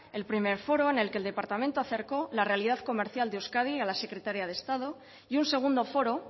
el primero foro en el que el departamento acercó la realidad comercial de euskadi a la secretaria de estado y un segundo foro